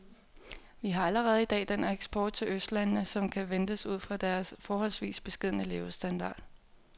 Vi har allerede i dag den eksport til østlandene, som kan ventes ud fra deres forholdsvis beskedne levestandard.